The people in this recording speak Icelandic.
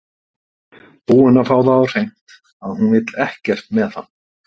Búinn að fá það á hreint að hún vill ekkert með hann.